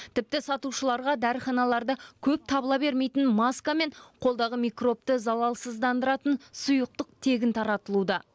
тіпті сатушыларға дәріханаларда көп табыла бермейтін маска мен қолдағы микробты залалсыздандыратын сұйықтық тегін таратылуда